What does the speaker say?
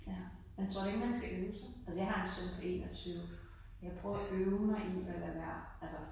Ja. Jeg tror ikke man skal øve sig? Altså jeg har en søn på 21. Jeg prøver at øve mig i at lade være altså